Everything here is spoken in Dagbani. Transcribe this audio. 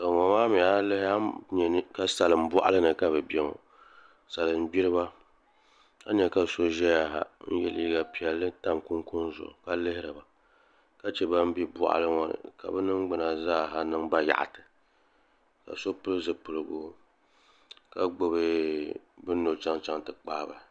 A yi lihi a ni nyɛ ka salin boɣali ni ka bi ʒɛya ŋo a ni nyɛ ka so ʒɛya ha n yɛ liiga piɛlli ka tam kunkun zuɣu ka lihiriba ka chɛ ban bɛ boɣali ŋo ni ka bi ningbuna zaa ha niŋ bayaɣati ka so pili zipiligu ka gbubi bini ni o chɛŋ ti kpaa bahi